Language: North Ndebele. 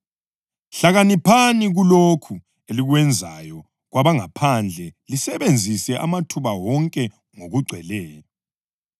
Hlakaniphani kulokho elikwenzayo kwabangaphandle lisebenzisa amathuba wonke ngokugcweleyo.